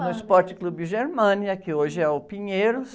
No Esporte Clube Germânia, que hoje é o Pinheiros.